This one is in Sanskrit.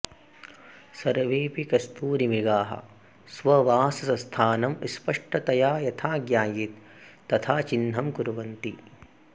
सर्वेऽपि कस्तूरिमृगाः स्ववासस्थानं स्पष्टतया यथा ज्ञायेत् तथा चिह्नं कुर्वन्ति